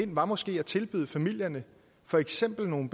ind var måske at tilbyde familierne for eksempel nogle